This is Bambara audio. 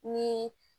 Ni